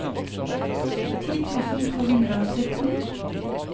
ti tusen to hundre og sytten